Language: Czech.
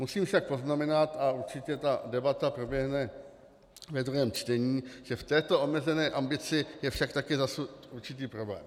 Musím však poznamenat, a určitě ta debata proběhne ve druhém čtení, že v této omezené ambici je však také zasunut určitý problém.